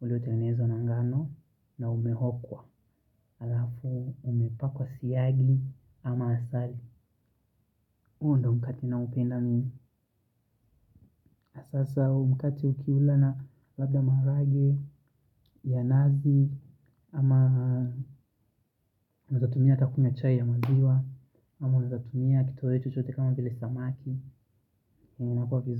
uliotengenezwa na ngano, na umeokwa, alafu umepakwa siyagi ama asali. Huu ndio mkate naupenda mimi hasaa umkate ukiula na labda marage, ya nazi, ama unaezatumia hata kunywa chai ya maziwa, ama unaezatumia kitowei chochote kama vile samaki.